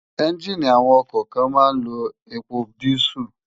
Ènjiní awòn òkò kán má n n ló épó dìsú